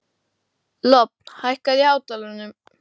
Lofn, hækkaðu í hátalaranum.